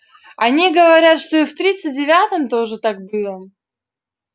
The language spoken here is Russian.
они говорят что и в тридцать девятом тоже так было